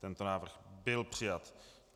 Tento návrh byl přijat.